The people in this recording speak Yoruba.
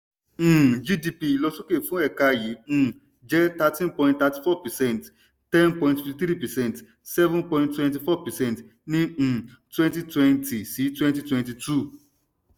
um gdp ìlọsókè fún ẹ̀ka yìí um jẹ́ thirteen point thirty four percent ten point fifty three percent seven point twenty four percent ní um twenty twenty-twenty twenty two.